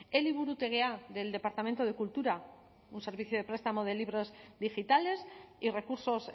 eliburutegia del departamento de cultura un servicio de prestamo de libros digitales y recursos